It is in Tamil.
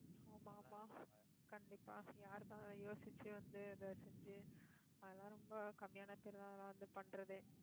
ஆமா ஆமா கண்டிப்பா, யாருக்காக யோசிச்சு வந்து, இத செஞ்சு அதெல்லாம் ரொம்ப கம்மியான பேர் தான், அதெல்லாம் வந்து பண்றதே